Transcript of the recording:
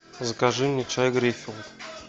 закажи мне чай гринфилд